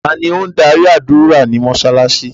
Tani o n darí ádùra ni mósálásí?